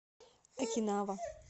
окинава